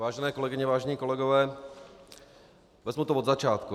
Vážené kolegyně, vážení kolegové, vezmu to od začátku.